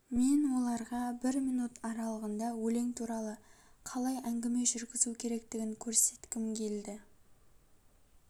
мен оларға бір минут аралығында өлең туралы қалай әңгіме жүргізу керектігін көрсеткім келді